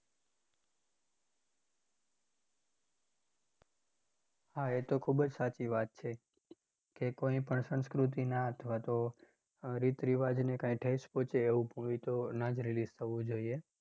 હા એ તો ખૂબ જ સાચી વાત છે કે કોઈ પણ સંસ્કૃતિના અથવા તો આહ રીત રિવાજને કાંઈ ઠેંસ પહોંચે એવું હોય તો ના જ release થવું જોઈએ.